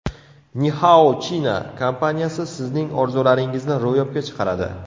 Ni Hao China kompaniyasi sizning orzularingizni ro‘yobga chiqaradi.